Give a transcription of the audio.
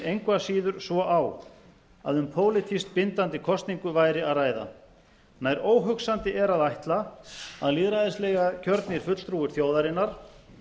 engu að síður svo á að um pólitískt bindandi kosningu væri að ræða nær óhugsandi er að ætla að lýðræðislega kjörnir fulltrúar þjóðarinnar